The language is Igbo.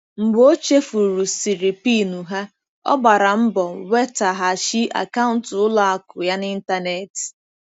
Mgbe o chefurusiri PIN ha, ọ gbara mbọ nwetaghachi akaụntụ ụlọ akụ ya n'ịntanetị.